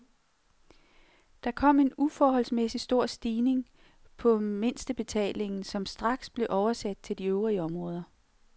Der kom en uforholdsmæssig stor stigning på mindstebetalingen, som straks blev oversat til de øvrige områder.